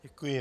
Děkuji.